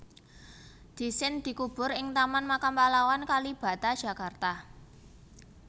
Dhisin dikubur ing Taman Makam Pahlawan Kalibata Jakarta